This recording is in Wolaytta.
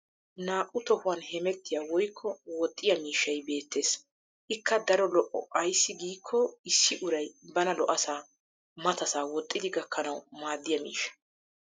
Naa'u tohuwan hemettiya woykko woxxiyaa miishshay beettes. Ikka daro lo'o ayssi giikko issi uray bana lo'asaa matasaa woxxidi gakkanawu maaddiya miishsha.